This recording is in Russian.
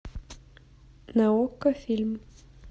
на окко фильм